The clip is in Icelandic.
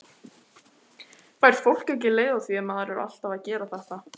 Fær fólk ekki leið á því ef maður er alltaf að gera þetta?